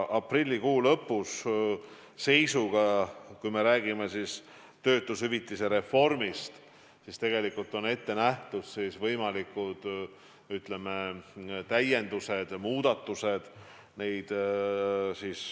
Aprillikuu lõpu seisuga – ma pean silmas töötushüvitise reformi – on ette nähtud võimalikud täiendused ja muudatused.